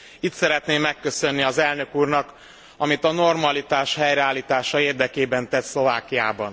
Itt szeretném megköszönni az Elnök úrnak, amit a normalitás helyreállítása érdekében tett Szlovákiában.